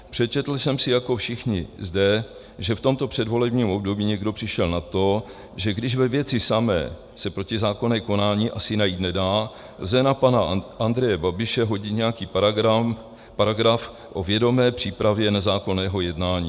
Přečetl jsem si jako všichni zde, že v tomto předvolebním období někdo přišel na to, že když ve věci samé se protizákonné konání asi najít nedá, lze na pana Andreje Babiše hodit nějaký paragraf o vědomé přípravě nezákonného jednání.